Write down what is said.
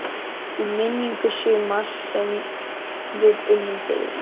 Í minningu sumars sem við unnum fyrir.